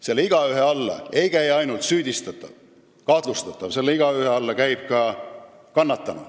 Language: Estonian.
Selle igaühe alla ei käi ainult süüdistatav ja kahtlustatav, vaid ka kannatanu.